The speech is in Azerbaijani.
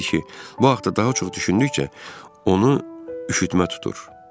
bu haqda daha çox düşündükcə onu üşütmə tutur.